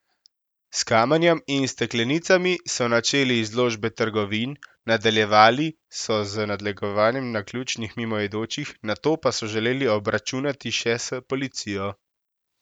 S kamenjem in steklenicami so načeli izložbe trgovin, nadaljevali so z nadlegovanjem naključnih mimoidočih, nato pa so želeli obračunati še s policijo.